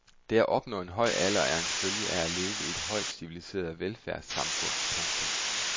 Det at opnå en høj alder er en følge af at leve i et højt civiliseret velfærdssamfund. punktum